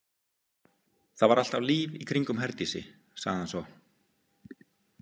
Það var alltaf líf í kringum Herdísi, sagði hann svo.